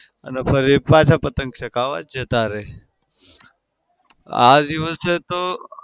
અને ફરી પાછા પતંગ ચગાવા જતા રઇ. આ દિવસે તો